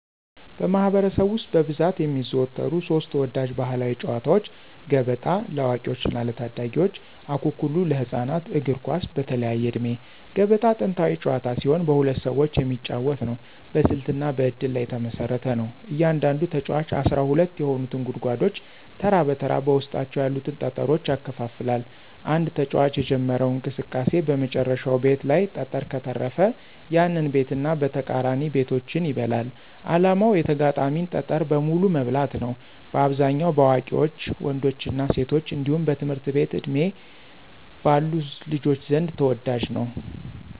በማኅበረሰብ ውስጥ በብዛት የሚዘወተሩ ሦስት ተወዳጅ ባሕላዊ ጨዋታዎች፦ ገበጣ (ለአዋቂዎችና ለታዳጊዎች) ፣አኩኩሉ (ለህፃናት)፣ እግር ኳስ (በተለያየ ዕድሜ)። ገበጣ ጥንታዊ ጨዋታ ሲሆን በሁለት ሰዎች የሚጫወት ነው። በስልትና በእድል ላይ የተመሰረተ ነው። እያንዳንዱ ተጫዋች 12 የሆኑትን ጉድጓዶች ተራ በተራ በውስጣቸው ያሉትን ጠጠሮች ያከፋፍላል። አንድ ተጫዋች የጀመረው እንቅስቃሴ በመጨረሻው ቤት ላይ ጠጠር ከተረፈ፣ ያንን ቤትና ተቃራኒ ቤቶችን ይበላል። ዓላማው የተጋጣሚን ጠጠር በሙሉ መብላት ነው። በአብዛኛው በአዋቂ ወንዶችና ሴቶች እንዲሁም በትምህርት ዕድሜ ባሉ ልጆች ዘንድ ተወዳጅ ነው።